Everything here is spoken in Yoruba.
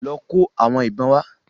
Lọ kó àwọn ìbọn wá.